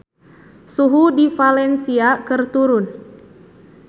Suhu di Valencia keur turun